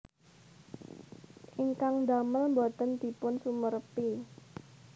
Ingkang ndamel boten dipun sumerepi